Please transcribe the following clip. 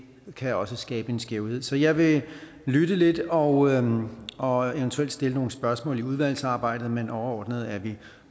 kan også skabe en skævhed så jeg vil lytte lidt og og eventuelt stille nogle spørgsmål i udvalgsarbejdet men overordnet er vi